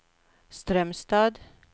Strömstad